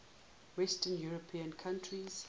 western european countries